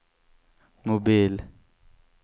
mobil